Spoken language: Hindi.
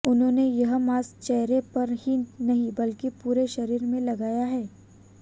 उन्होंने यह मास्क चेहरे पर ही नहीं बल्कि पूरे शरीर में लगाया है